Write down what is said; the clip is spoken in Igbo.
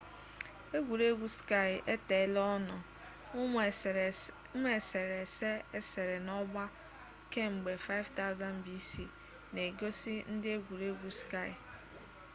egwuregwu ski eteela ọ nọ ụmụ eserese esere n'ọgba kemgbe 5000 bc na-egosi ndị egwuregwu ski